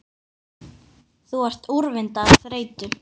Þú ert úrvinda af þreytu